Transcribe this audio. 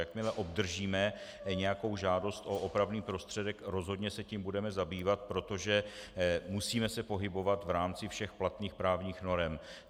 Jakmile obdržíme nějakou žádost o opravný prostředek, rozhodně se tím budeme zabývat, protože se musíme pohybovat v rámci všech platných právních norem.